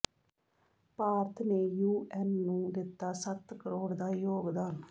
ਭਾਰਤ ਨੇ ਯੂਐੱਨ ਨੂੰ ਦਿੱਤਾ ਸੱਤ ਕਰੋੜ ਦਾ ਯੋਗਦਾਨ